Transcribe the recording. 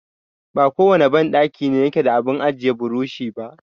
Ba kowane banɗaki ne yake da abun ajiye burushi ba.